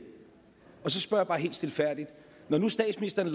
og så spørger jeg bare helt stilfærdigt når nu statsministeren